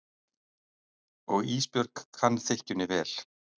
Og Ísbjörg kann þykkjunni vel.